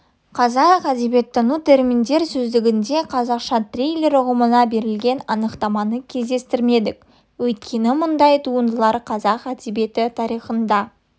қазақ әдебиеттану терминдер сөздігінде қазақша триллер ұғымына берілген анықтаманы кездестірмедік өйткені мұндай туындылардың қазақ әдебиеті тарихында